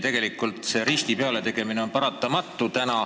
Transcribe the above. Tegelikult see risti pealetõmbamine on paratamatu.